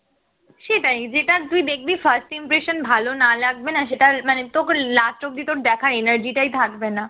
সেটাই যেটা তুই দেখবি first impression ভালো না লাগবেনা সেটার মানে তোকে last অব্দি দেখার energy টাই থাকবে না